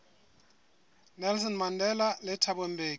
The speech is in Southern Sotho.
nelson mandela le thabo mbeki